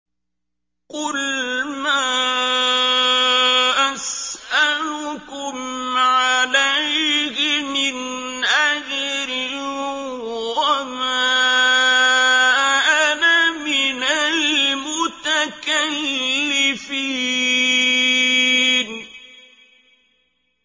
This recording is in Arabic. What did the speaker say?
قُلْ مَا أَسْأَلُكُمْ عَلَيْهِ مِنْ أَجْرٍ وَمَا أَنَا مِنَ الْمُتَكَلِّفِينَ